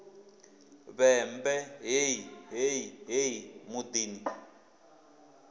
vhembe hei hei hei muḓini